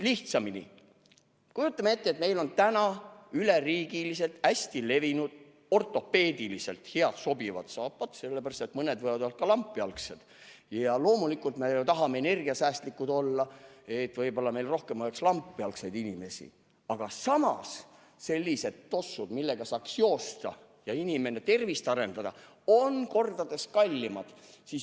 Lihtsamini öeldes, kujutame ette, et meil on üle riigi hästi levinud ortopeediliselt sobivad saapad, sest mõni meist võib olla ka lampjalgne – loomulikult me tahame energiasäästlikud olla ja võib-olla meil oleks rohkem lampjalgseid inimesi –, samas sellised tossud, millega saaks joosta ja oma tervist arendada, on kordades kallimad.